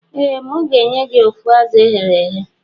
Ee mu ga enye gi of azu eghere eghe.